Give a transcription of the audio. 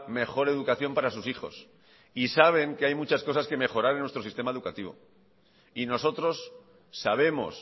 mejor educación para sus hijos y saben que hay muchas cosas que mejorar en nuestro sistema educativo y nosotros sabemos